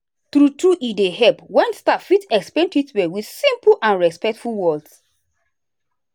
true true e dey help when staff fit explain treatment with simple and respectful words.